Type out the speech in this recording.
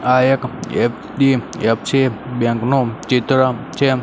આ એક HDFC bank નો ચિત્ર છે.